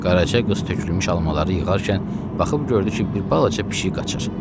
Qaraca qız tökülmüş almaları yığarkən baxıb gördü ki, bir balaca pişik qaçır.